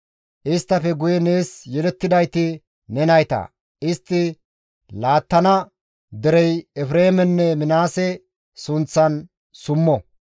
Isttafe guye nees yelettidayti ne nayta; istti laattana derey Efreemenne Minaase sunththan summo.